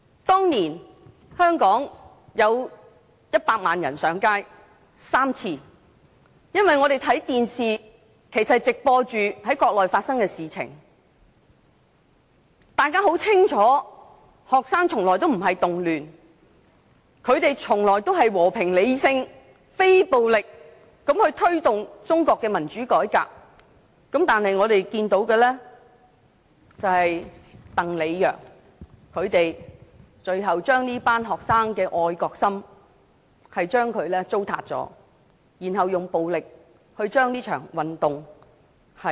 當年香港有100萬人上街3次，因為電視直播國內發生的事情，大家很清楚學生的運動從來不是動亂，只是和平、理性、非暴力的推動中國的民主改革，但我們看到的是，鄧、李、楊最後糟塌了這群學生的愛國心，並且用暴力結束了這場運動。